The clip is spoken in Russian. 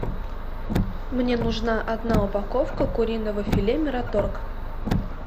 мне нужна одна упаковка куриного филе мираторг